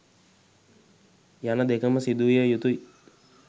යන දෙකම සිදුවිය යුතුයි.